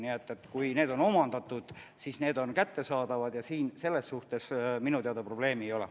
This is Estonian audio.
Nii et kui need on omandatud, siis need on kättesaadavad ja siin selles suhtes minu teada probleemi ei ole.